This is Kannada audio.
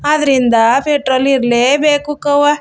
ಅದ್ರಿಂದ ಪೆಟ್ರೊಲ್ ಈರ್ಲ್ಲೆ ಬೇಕು ಹುಕ್ಕವಾ.